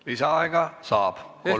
Lisaaega saab.